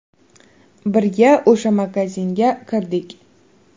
Birga o‘sha magazinga kirdik.